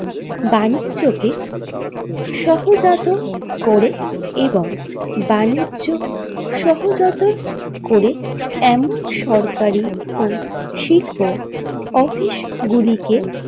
বাণিজ্যকে সহজাত করে এবং বাণিজ্য সহজাত করে এমন সরকারি ও শিল্প অফিস গুলিকে।